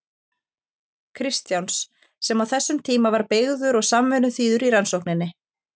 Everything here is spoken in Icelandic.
Kristjáns, sem á þessum tíma var beygður og samvinnuþýður í rannsókninni.